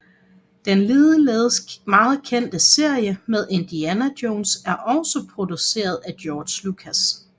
Den ligeledes meget kendte serie med Indiana Jones er også produceret af George Lucas